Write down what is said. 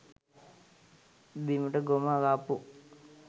බිමට ගොම ගාපු,